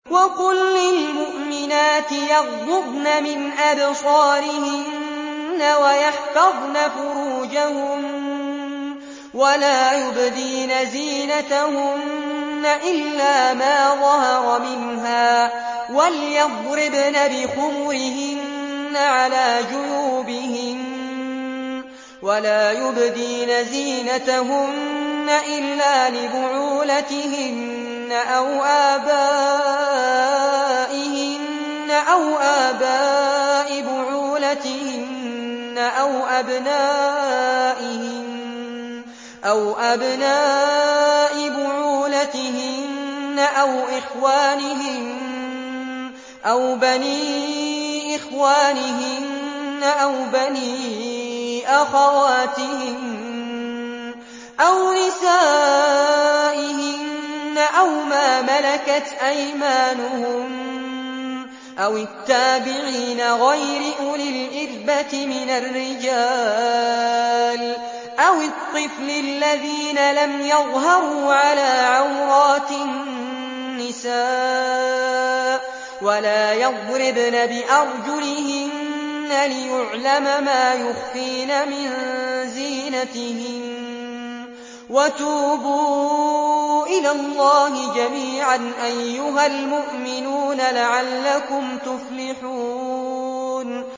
وَقُل لِّلْمُؤْمِنَاتِ يَغْضُضْنَ مِنْ أَبْصَارِهِنَّ وَيَحْفَظْنَ فُرُوجَهُنَّ وَلَا يُبْدِينَ زِينَتَهُنَّ إِلَّا مَا ظَهَرَ مِنْهَا ۖ وَلْيَضْرِبْنَ بِخُمُرِهِنَّ عَلَىٰ جُيُوبِهِنَّ ۖ وَلَا يُبْدِينَ زِينَتَهُنَّ إِلَّا لِبُعُولَتِهِنَّ أَوْ آبَائِهِنَّ أَوْ آبَاءِ بُعُولَتِهِنَّ أَوْ أَبْنَائِهِنَّ أَوْ أَبْنَاءِ بُعُولَتِهِنَّ أَوْ إِخْوَانِهِنَّ أَوْ بَنِي إِخْوَانِهِنَّ أَوْ بَنِي أَخَوَاتِهِنَّ أَوْ نِسَائِهِنَّ أَوْ مَا مَلَكَتْ أَيْمَانُهُنَّ أَوِ التَّابِعِينَ غَيْرِ أُولِي الْإِرْبَةِ مِنَ الرِّجَالِ أَوِ الطِّفْلِ الَّذِينَ لَمْ يَظْهَرُوا عَلَىٰ عَوْرَاتِ النِّسَاءِ ۖ وَلَا يَضْرِبْنَ بِأَرْجُلِهِنَّ لِيُعْلَمَ مَا يُخْفِينَ مِن زِينَتِهِنَّ ۚ وَتُوبُوا إِلَى اللَّهِ جَمِيعًا أَيُّهَ الْمُؤْمِنُونَ لَعَلَّكُمْ تُفْلِحُونَ